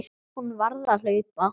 Hún varð að hlaupa.